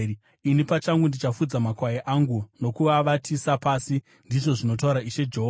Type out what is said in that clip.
Ini pachangu ndichafudza makwai angu nokuavatisa pasi, ndizvo zvinotaura Ishe Jehovha.